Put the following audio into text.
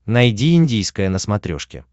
найди индийское на смотрешке